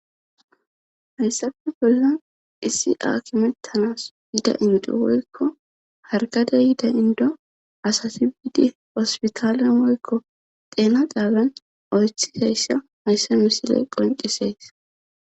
hayssafe bollan issi akimettanas yida inde woykko harkade yida indo asati biidi hospitaalen woykko xeena xaabiyan oychizayssa hayssa misile qoncisees.